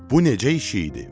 Bu necə iş idi?